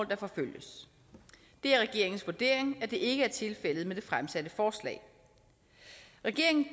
der forfølges det er regeringens vurdering at det ikke er tilfældet med det fremsatte forslag regeringen